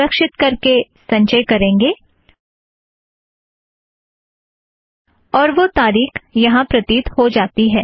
सुरक्षीत करके संचय करेंगें और वह तारीख यहाँ प्रतीत हो जाती है